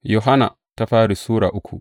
daya Yohanna Sura uku